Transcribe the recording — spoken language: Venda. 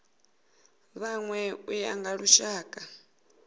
vhanwe u ya nga lushaka